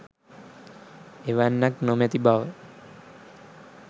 එවැන්නක් නොමැති බව